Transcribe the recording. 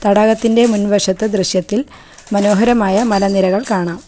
തടാകത്തിൻ്റെ മുൻവശത്ത് ദൃശ്യത്തിൽ മനോഹരമായ മലനിരകൾ കാണാം.